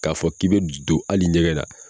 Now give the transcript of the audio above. K'a fɔ k'i be don ali ɲɛgɛn na